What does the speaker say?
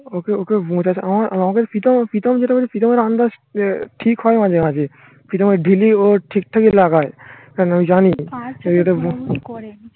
ওকে okay আমাকে প্রীতম প্রীতম যেটা